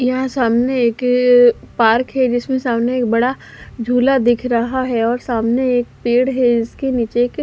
यहाँ सामने एक पार्क है जिसमे सामने एक बड़ा झूला दिख रहा है और सामने एक पेड़ है इसके नीचे एक--